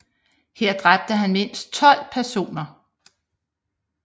Her dræbte han mindst 12 personer